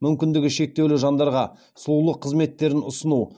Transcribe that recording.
мүмкіндігі шектеулі жандарға сұлулық қызметтерін ұсыну